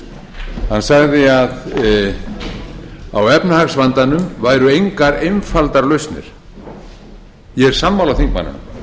hann sagði að á efnahagsvandanum væru engar einfaldar lausnir ég er sammála